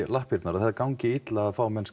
lappirnar eða það gangi illa að fá menn